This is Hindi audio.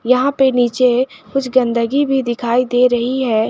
यहां पे नीचे कुछ गंदगी भी दिखाई दे रही है।